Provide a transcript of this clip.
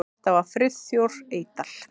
Þetta var Friðþór Eydal.